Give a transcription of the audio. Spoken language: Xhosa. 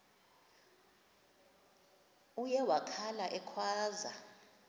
uye wakhala ekhwaza